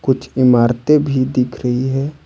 कुछ इमारतें भी दिख रही है।